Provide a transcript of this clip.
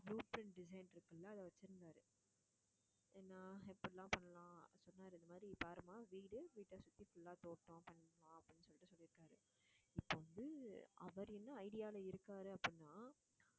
blue print design இருக்குல்ல அது வச்சிருந்தாரு என்ன எப்படில்லாம் பண்ணலாம் சொன்னாரு இந்த மாதிரி பாரும்மா வீடு வீட்டை சுத்தி full ஆ தோட்டம், அப்படின்னு சொல்லிட்டு சொல்லி இப்ப வந்து, அவர் என்ன idea ல இருக்காரு அப்படின்னா